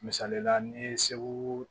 Misalila ni ye segu